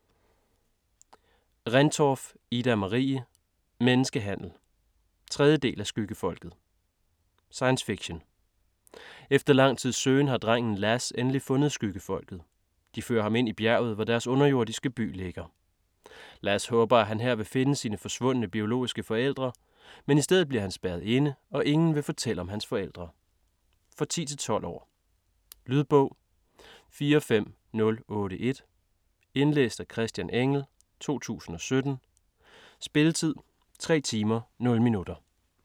Rendtorff, Ida-Marie: Menneskehandel 3. del af Skyggefolket. Science fiction. Efter lang tids søgen har drengen Lass endelig fundet Skyggefolket. De fører ham ind i bjerget, hvor deres underjordiske by ligger. Lass håber, at han her vil finde sine forsvundne, biologiske forældre, men i stedet bliver han spærret inde, og ingen vil fortælle om hans forældre. For 10-12 år. Lydbog 45081 Indlæst af Christian Engell, 2017. Spilletid: 3 timer, 0 minutter.